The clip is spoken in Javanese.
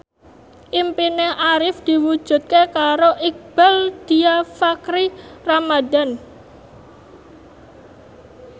impine Arif diwujudke karo Iqbaal Dhiafakhri Ramadhan